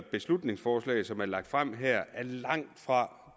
beslutningsforslag som er lagt frem her er langtfra